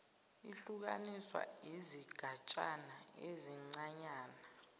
ihlukaniswa izigatshana ezincanyana